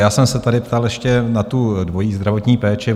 Já jsem se tady ptal ještě na tu dvojí zdravotní péči.